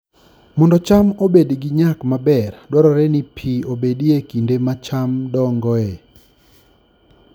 Mondo cham obed gi nyak maber, dwarore ni pi obedie e kinde ma cham dongoe